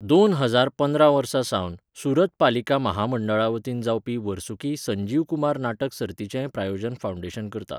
दोन हजार पंदरा वर्सा सावन, सुरत पालिका म्हामंडळा वतीन जावपी वर्सुकी संजीव कुमार नाटक सर्तीचेंय प्रायोजन फावंडेशन करता.